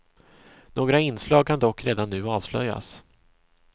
Några inslag kan dock redan nu avslöjas.